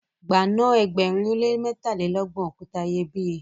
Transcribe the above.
gba na ẹgbẹrin o le mẹtalelọgbọn okuta iyebiye!